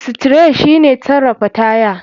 Steri shike sarafa taya.